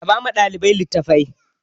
Raba ma ɗalibai littafai!